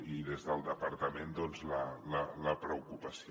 i des del departament la preocupació